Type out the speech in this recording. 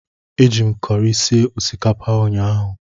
Eji m kọrị sie osikapa ụnyahụ.